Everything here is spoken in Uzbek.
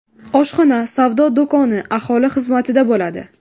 Oshxona, savdo do‘koni aholi xizmatida bo‘ladi.